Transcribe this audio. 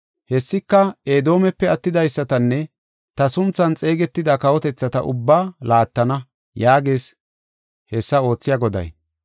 Hessika Edoomepe attidaysatanne ta sunthan xeegetida kawotethata ubbaa laattana” yaagees hessa oothiya Goday.